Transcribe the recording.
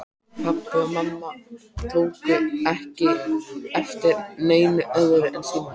Pabbi og mamma tóku ekki eftir neinu öðru en símanum.